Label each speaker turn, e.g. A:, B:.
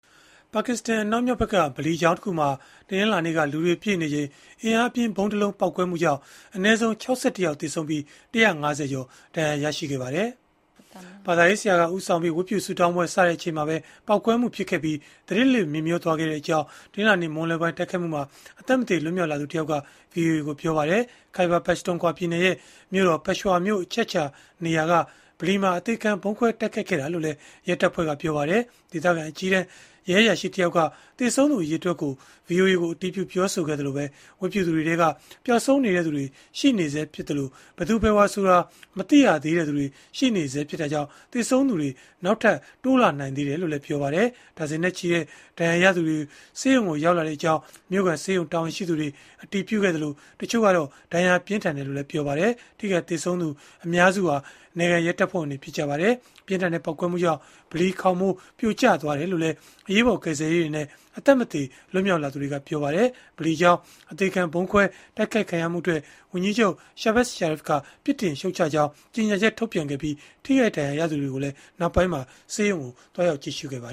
A: ပါကစ္စတန် အနောက်မြောက်ဘက်က ဗလီကျောင်းတခုမှာ တနင်္လာနေ့က လူတွေပြည့်နေချိန် အင်အားပြင်းဗုံးတလုံး ပေါက်ကွဲမှုကြောင့် အနည်းဆုံး ၆၁ ယောက် သေဆုံးပြီး ၁၅၀ ကျော် ဒဏ်ရာရခဲ့ပါတယ်။ ဘာသာရေးဆရာက ဦးဆောင်ပြီး ဝတ်ပြုဆုတောင်းပွဲစချိန်မှာပဲ ပေါက်ကွဲမှုဖြစ်ခဲ့ပြီး သတိလစ်မေ့မျောသွားခဲ့ကြောင်း တနင်္လာနေ့ မွန်းလွဲပိုင်း တိုက်ခိုက်မှုမှာ အသက်မသေ လွတ်မြောက်လာသူတယောက်က ဗွီအိုအေကို ပြောပါတယ်။ Khyber Pakhtunkhwa ပြည်နယ်ရဲ့မြို့တော် Peshawar မြို့ အချက်အခြာနေရာကဗလီမှာ အသေခံဗုံးခွဲတိုက်ခိုက်ခဲ့တာလို့လည်း ရဲတပ်ဖွဲ့က ပြောပါတယ်။ ဒေသခံ အကြီးတန်းရဲအရာရှိတယောက်က သေဆုံးသူအရေအတွက်ကို ဗွီအိုအေကို အတည်ပြုခဲ့သလို ဝတ်ပြုသူတွေထဲက ပျောက်ဆုံးနေသူတွေ ရှိနေသေးပြီး ဘယ်သူဘယ်ဝါဆိုတာ မသိရသေးတဲ့သူတွေ ရှိနေသေးတာကြောင့် သေဆုံးသူနောက်ထပ် တိုးလာနိုင်တယ်လို့လည်း ပြောပါတယ်။ ဒါဇင်နဲ့ချီတဲ့ ဒဏ်ရာရသူတွေ ဆေးရုံကိုရောက်လာကြောင်း မြို့ခံဆေးရုံတာဝန်ရှိသူတွေ အတည်ပြုခဲ့သလို တချို့ကတော့ ဒဏ်ရာပြင်းထန်တယ်လို့လည်း ပြောပါတယ်။ ထိခိုက်သေဆုံးသူအများစုဟာ နယ်ခံရဲတပ်ဖွဲ့ဝင်တွေ ဖြစ်ကြပါတယ်။ ပြင်းထန်တဲ့ ပေါက်ကွဲမှုကြောင့် ဗလီခေါင်မိုး ပြိုကျသွားခဲ့တယ်လို့လည်း အရေးပေါ်ကယ်ဆယ်ရေးတွေနဲ့ အသက်မသေ လွတ်မြောက်လာသူတွေက ပြောပါတယ်။ ဗလီကျောင်း အသေခံဗုံးခွဲတိုက်ခိုက်မှုအတွက် ဝန်ကြီးချုပ် Shahbaz Sharif က ပြစ်တင်ရှုတ်ချကြောင်း ကြေညာချက် ထုတ်ပြန်ခဲ့ပြီး ထိခိုက်ဒဏ်ရာရသူတွေကိုလည်း ဆေးရုံမှာ သွားရောက်ကြည့်ရှုခဲ့တာပါ